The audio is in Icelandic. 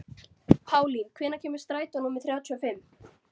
Pálín, hvenær kemur strætó númer þrjátíu og fimm?